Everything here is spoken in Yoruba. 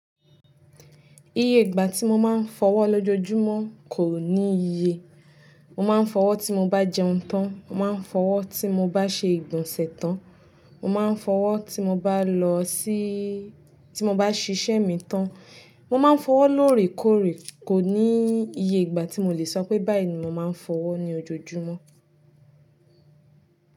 Iye ìgbà tí mo máa ń fọwọ́ lójoojúmọ́ kò ní iye. Mo máa ń fọwọ́ tí mo bá jẹun tán, mo máa ń fọwọ́ tí mo bá ṣe ìgbọ̀nsẹ̀ tán, mo máa ń fọwọ́ tí mo bá lọ sí, tí mo bá ṣiṣẹ́ mi tán, mo máa ń fọwọ́ lóòrèkóòrè, kò ní iye ìgbà tí mo le sọ pé báyìí ni mo máa ń fọwọ́ ní ojoojúmọ́.